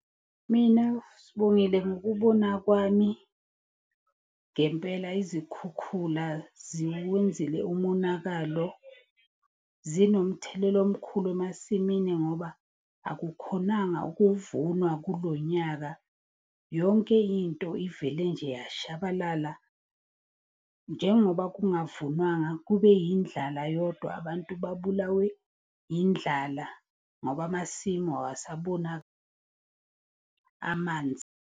Mina Sibongile, ngokubona kwami, ngempela izikhukhula ziwenzile umonakalo. Zinomthelela omkhulu emasimini ngoba akukhonanga ukuvunwa kulo nyaka. Yonke into ivele nje yashabalala njengoba kungavunwanga, kube yindlala yodwa. Abantu babulawe indlala ngoba amasimu amanzi.